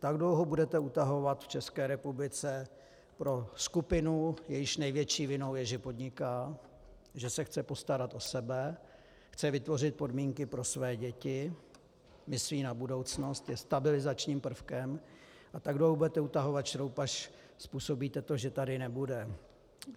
Tak dlouho budete utahovat v České republice pro skupinu, jejíž největší vinou je, že podniká, že se chce postarat o sebe, chce vytvořit podmínky pro své děti, myslí na budoucnost, je stabilizačním prvkem, tak dlouho budete utahovat šroub, až způsobíte to, že tady nebude.